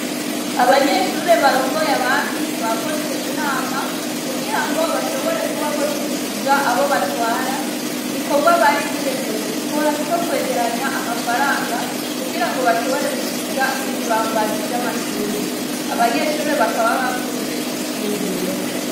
Abanyeshure barongoye abandi bakoze inama kugirango bashobore kuba boshikiriza abo batwara igikorwa bari biyemeje gukora co kwegeranya amafaranga kugirango bashobore gusiga ibibambazi vyamashure, abanyeshure bakaba bakunze ico ciyumviro.